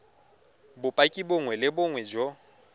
bopaki bongwe le bongwe jo